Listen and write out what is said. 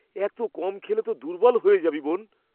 এত কম খেলে তো দুর্বল হয়ে যাবি, বোন!